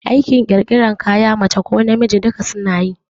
Aikin ƙirƙiran kaya mace ko namiji duka suna yi